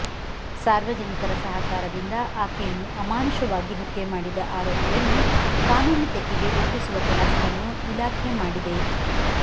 ಸಾರ್ವಜನಿಕರ ಸಹಕಾರದಿಂದ ಆಕೆಯನ್ನು ಅಮಾನುಷವಾಗಿ ಹತ್ಯೆ ಮಾಡಿದ ಆರೋಪಿಯನ್ನು ಕಾನೂನು ತೆಕ್ಕೆಗೆ ಒಪ್ಪಿಸುವ ಕೆಲಸವನ್ನು ಇಲಾಖೆ ಮಾಡಿದೆ